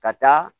Ka taa